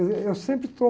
Êh, eu sempre estou...